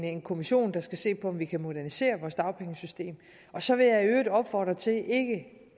en kommission der skal se på om vi kan modernisere vores dagpengesystem og så vil jeg i øvrigt opfordre til